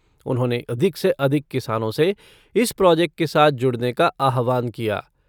उन्होंने अधिक से अधिक किसानों से इस प्रॉजेक्ट के साथ जुड़ने का आह्वान किया।